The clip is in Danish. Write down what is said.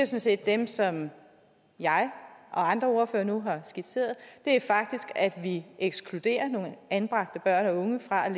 set dem som jeg og andre ordførere nu har skitseret det er faktisk at vi ekskluderer nogle anbragte børn og unge fra i